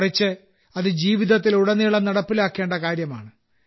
മറിച്ച് അത് ജീവിതത്തിലുടനീളം നടപ്പിലാക്കേണ്ട കാര്യമാണ്